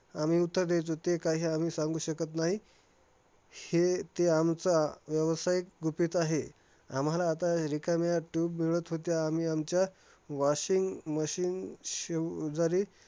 आम्ही उत्तर द्यायचो, ते काही आम्ही सांगू शकत नाही. हे ते आमचं व्यावसायिक गुपित आहे. आम्हाला आता रिकाम्या tube मिळत होत्या. आम्ही आमच्या washing machine शेवजारी